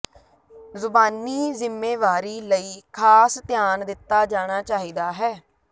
ਜ਼ੁਬਾਨੀ ਜ਼ਿੰਮੇਵਾਰੀ ਲਈ ਖਾਸ ਧਿਆਨ ਦਿੱਤਾ ਜਾਣਾ ਚਾਹੀਦਾ ਹੈ